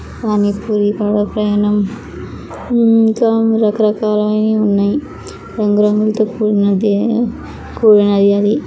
పాణి పూరి ఇంకా రాకరకాలైనవి ఉన్నాయ్. రంగు రంగులతో కూడినది. ఆది --